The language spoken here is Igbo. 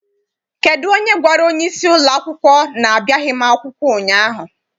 Kedụ onye gwara onyeisi ụlọakwụkwọ na-abịaghị m akwụkwọ ụnyaahụ?